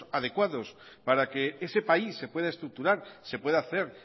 adecuados para que ese país se pueda estructurar se pueda hacer